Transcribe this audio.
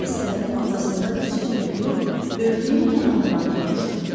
Kennedy səbətin ortasında diz üstə durub, örtüyün kənarından tutmuşdu.